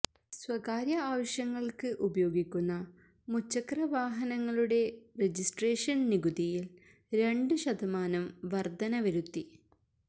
സ്വകാര്യ ആവശ്യങ്ങൾക്ക് ഉപയോഗിക്കുന്ന മുച്ചക്ര വാഹനങ്ങളുടെ രജിസ്ട്രേഷൻ നികുതിയിൽ രണ്ട് ശതമാനം വർധന വരുത്തി